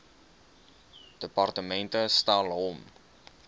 departement stel hom